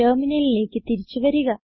ടെർമിനലിലേക്ക് തിരിച്ചു വരിക